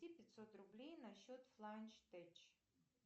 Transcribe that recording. пятьсот рублей на счет фланч теч